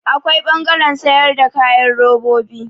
Akwai ɓangaren sayar da kayan robobi.